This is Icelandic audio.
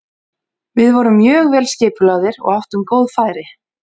Við vorum mjög vel skipulagðir og áttum góð færi.